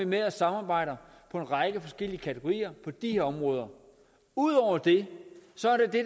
med og samarbejder på en række forskellige kategorier på de her områder ud over det